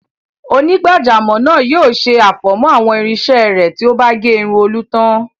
Onígbàjámọ̀ náà yóò ṣe àfọ̀mọ́ àwọn irinṣẹ́ rẹ̀ tí ó bá gé irun Olú tán.